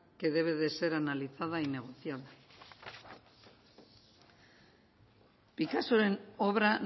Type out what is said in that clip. que debe de ser analizada y negociable picassoren obra